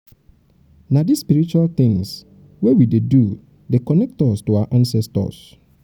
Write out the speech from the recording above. na dese spiritual tins wey we dey do dey connect us to our ancestors.